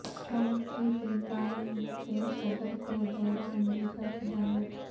Trump کی Philippines کے صدر کو دورہ امریکہ کی دعوت